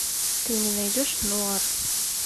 ты мне найдешь нуар